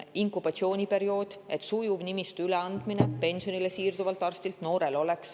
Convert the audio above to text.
Inkubatsiooniperiood, et pensionile siirduv arst saaks sujuvalt nimistu üle anda noorele.